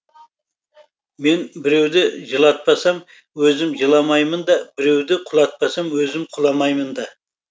мен біреуді жылатпасам өзім жыламаймын да біреуді құлатпасам өзім құламаймын да